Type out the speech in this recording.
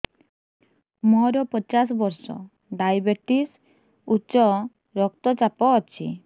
ମୋର ପଚାଶ ବର୍ଷ ଡାଏବେଟିସ ଉଚ୍ଚ ରକ୍ତ ଚାପ ଅଛି